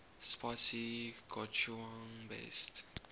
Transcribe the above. spicy gochujang based